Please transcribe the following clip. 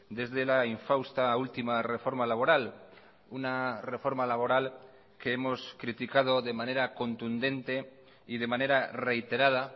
desde la infausta última reforma laboral una reforma laboral que hemos criticado de manera contundente y de manera reiterada